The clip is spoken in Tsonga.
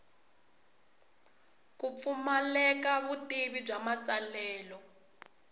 ku pfumaleka vutivi bya matsalelo